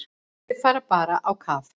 Þau fara bara á kaf.